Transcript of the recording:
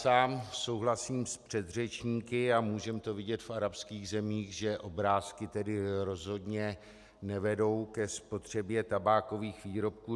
Sám souhlasím s předřečníky - a můžeme to vidět v arabských zemích -, že obrázky tedy rozhodně nevedou ke spotřebě tabákových výrobků.